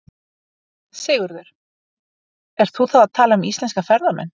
Sigurður: Ert þú þá að tala um íslenska ferðamenn?